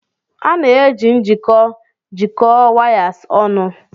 A na-eji njikọ jikọọ wires ọnụ.